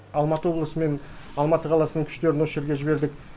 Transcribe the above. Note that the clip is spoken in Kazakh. алматы облысы мен алматы қаласының күштерін осы жерге жібердік